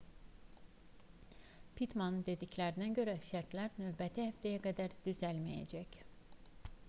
pittmanın dediklərinə görə şərtlər növbəti həftəyə qədər düzəlməyəcək